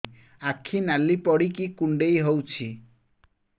ଆଖି ନାଲି ପଡିକି କୁଣ୍ଡେଇ ହଉଛି